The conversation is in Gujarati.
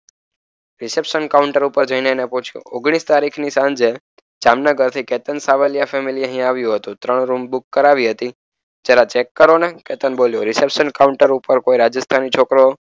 રિસેપ્શન કાઉન્ટર ઉપર જઈને પૂછ્યું ઓગણીસ તારીખ ની સાંજે જામનગર થી કેતન સાવલિયા ફેમિલી અહીં આવ્યું હતું. ત્રણ રૂમ બુક કરાવી હતી. જરા ચેક કરો ને. કેતન બોલ્યો. રિસેપ્શન કાઉન્ટર ઉપર કોઈ રાજસ્થાની છોકરો,